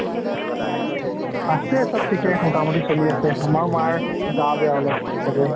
আছে চৱ ঠিকে মোতা মতি চলি আছে, আমাৰ মাৰ গা বেয়া অলপ ।